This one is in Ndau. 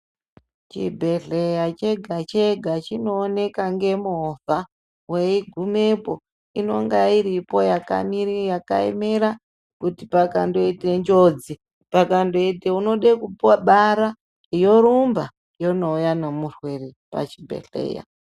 Chibhehleya chega-chega chinooneka nemovha. Weigumepo inonga iripo yakaemera kuti pakandoite njodzi, pakandoite unode kubara yorumba yonouya nomurwere pachibhehleya.